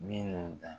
Minnu dan